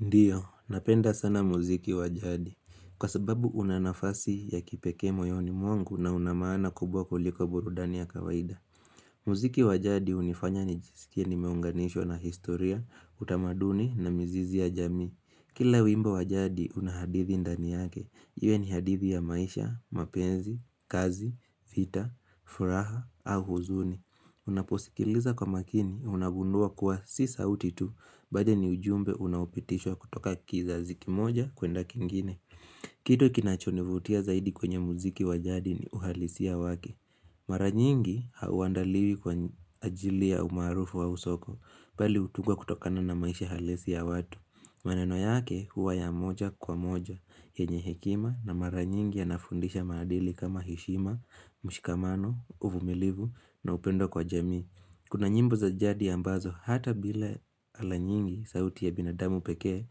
Ndio, napenda sana muziki wa jadi Kwa sababu una nafasi ya kipekee moyoni mwangu na una maana kubwa kuliko burudani ya kawaida muziki wa jadi unifanya nijisikie nimeunganishwa na historia, utamaduni na mizizi ya jamii Kila wimbo wa jadi una hadithi ndani yake Iwe ni hadithi ya maisha, mapenzi, kazi, vita, furaha au huzuni Unaposikiliza kwa makini, unagundua kuwa si sautitu Bali ni ujumbe unapitishwa kutoka kizazi kimoja kuenda kingine Kitu kinachonivutia zaidi kwenye muziki wa jadi ni uhalisia wake Mara nyingi hauandaliwi kwa ajili ya umarufu au soko bali utungwa kutokana na maisha halisi ya watu maneno yake huwa ya moja kwa moja yenye hekima na mara nyingi ya nafundisha maadili kama heshima, mshikamano, uvumilivu na upendo kwa jamii Kuna nyimbo za jadi ambazo hata bila ala nyingi sauti ya binadamu pekee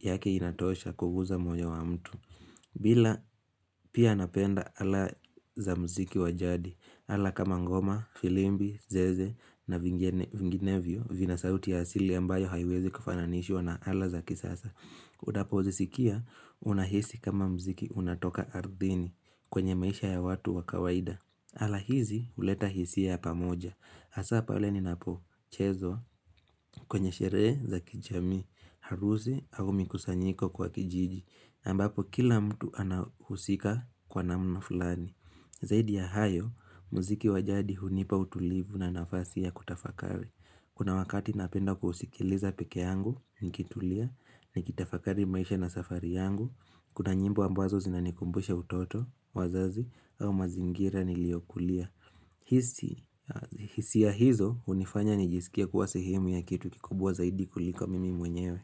yake inatosha kuguza moyo wa mtu Ila pia napenda ala za mziki wa jadi ala kama ngoma, firimbi, zeze na vinginevyo vina sauti ya asili ambayo haiezi kufananishiwa na ala za kisasa Udapouzisikia unahisi kama mziki unatoka ardhini kwenye maisha ya watu waka waida ala hizi uleta hisia ya pamoja Asa pale ninapo chezwa kwenye shereza za kijami harusi au mikusanyiko kwa kijiji ambapo kila mtu anahusika kwa namna fulani Zaidi ya hayo mziki wa jadi hunipa utulivu na nafasi ya kutafakari Kuna wakati napenda kuhusikiliza pekee yangu, nikitulia, nikitafakari maisha na safari yangu Kuna nyimbo ambazo zinanikumbusha utoto, wazazi, au mazingira niliokulia hisia hizo unifanya nijisikie kuwa sehemu ya kitu kikubwa zaidi kuliko mimi mwenyewe.